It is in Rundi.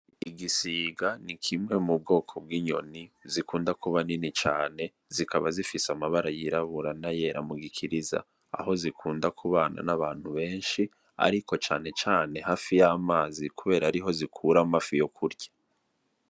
Igisiga nikimwe mu bwoko bw'inyoni zikunda kuba nini cane zikaba zifise amabara yirabura n'ayera mugikiriza aho zikunda kubana n'abantu benshi ariko cane cane hafi yamazi kubera ariho zikura amafi yokurya.